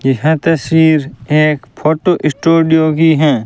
यह तस्वीर एक फोटो स्टूडियो की हैं।